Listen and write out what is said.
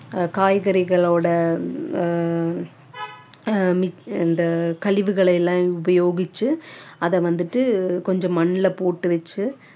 காய்கறிகளோட அஹ் இந்த கழிவுகளை எல்லாம் உபயோகிச்சு அதை வந்துட்டு கொஞ்சம் மண்ணுல போட்டு வச்சு